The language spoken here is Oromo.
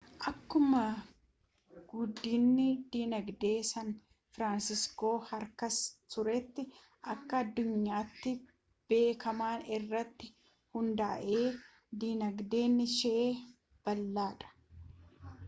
akkuma guddinni dinagdee san firaansiskoo harkisa tuuristii akka addunyaatti beekamaa irratti hundaa'e dinagdeen ishee bal'aa dha